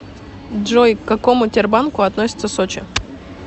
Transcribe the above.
джой к какому тербанку относится сочи